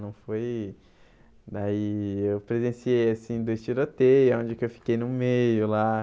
Não foi... Daí eu presenciei, assim, dois tiroteios, onde que eu fiquei no meio, lá.